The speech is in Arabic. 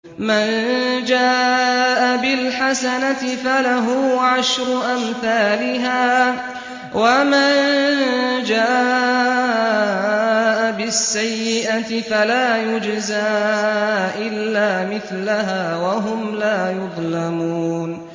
مَن جَاءَ بِالْحَسَنَةِ فَلَهُ عَشْرُ أَمْثَالِهَا ۖ وَمَن جَاءَ بِالسَّيِّئَةِ فَلَا يُجْزَىٰ إِلَّا مِثْلَهَا وَهُمْ لَا يُظْلَمُونَ